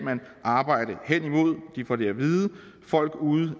arbejde hen imod de får det at vide folk ude